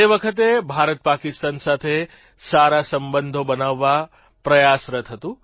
તે વખતે ભારત પાકિસ્તાન સાથે સારા સંબંધો બનાવવા પ્રયાસરત હતું